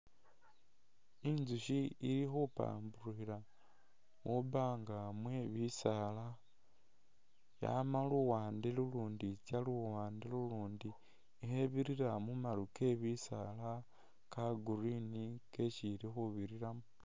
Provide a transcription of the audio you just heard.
Inzusyi ili khupampurukhila mwibaanga mwe bisaala, yama luwande lulundi itsya luwaande lulundi ikhebirira mu maru ke bisaala kali green kesi ili khubiriramo.